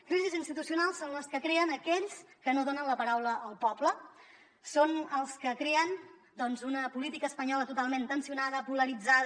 crisis institucionals són les que creen aquells que no donen la paraula al poble són els que creen doncs una política espanyola totalment tensionada polaritzada